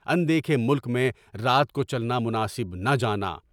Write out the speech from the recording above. ان دیکھے ملک میں رات کو چلنا مناسب نہ جانا۔